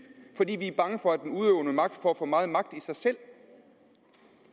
fordi vi er bange for at den udøvende magt får for meget magt i sig selv